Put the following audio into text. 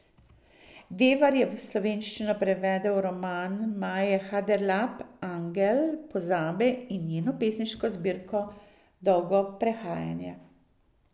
Vevar je v slovenščino prevedel roman Maje Haderlap Angel pozabe in njeno pesniško zbirko Dolgo prehajanje.